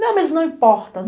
Ah mas não importa.